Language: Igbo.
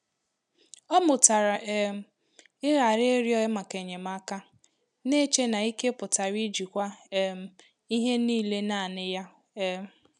Ọ́ mụ́tàrà um ị́ghàra ị́rị́ọ́ màkà ényémáká, n'eche na ike pụ́tàrà íjíkwá um ìhè níílé nāànị́ yá. um